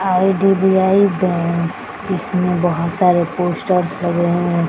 IDBI. Bank इसमें बहुत सारे पोस्टर्स लगे हुए है।